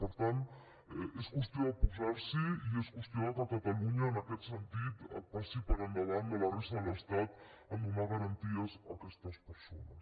per tant és qüestió de posars’hi i és qüestió que catalunya en aquest sentit passi per endavant de la resta de l’estat a donar garanties a aquestes persones